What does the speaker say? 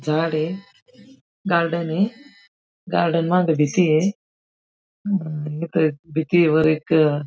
झाड ये. गार्डन ये. गार्डन मागं भीती ये. अ ईथ भिंतीवर एक--